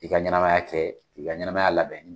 I ka ɲanamaya kɛ, ki ka ɲanamaya labɛn.